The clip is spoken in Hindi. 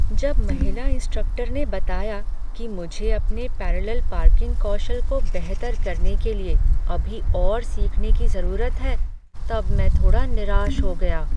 जब महिला इंस्ट्रक्टर ने बताया कि मुझे अपने पैरलल पार्किंग कौशल को बेहतर करने के लिए अभी और सीखने की जरूरत है तब मैं थोड़ा निराश हो गया ।